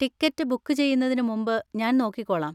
Ticket book ചെയ്യുന്നതിന് മുമ്പ് ഞാൻ നോക്കിക്കോളാം.